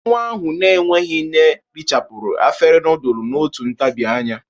Nwa ahụ n'enweghi nne richapuru afere nudul n'otu ntabi anya.